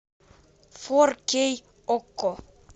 фор кей окко